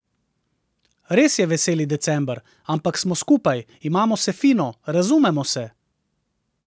Res je veseli december, ampak smo skupaj, imamo se fino, razumemo se.